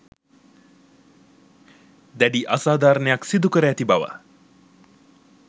දැඩි අසාධාරණයක් සිදුකර ඇති බව